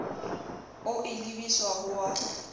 o e lebiswa ho wa